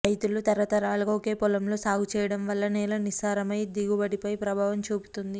రైతులు తరతరాలుగా ఒకే పొలంలో సాగు చేయడం వల్ల నేల నిస్సారమై దిగుబడిపై ప్రభావం చూపుతోంది